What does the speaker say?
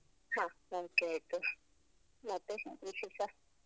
ಹ okay ಆಯ್ತು ಮತ್ತೆ ವಿಶೇಷ?